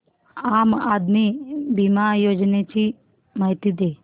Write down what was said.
आम आदमी बिमा योजने ची माहिती दे